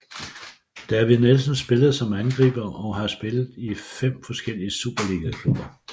David Nielsen spillede som angriber og har spillet i fem forskellige superligaklubber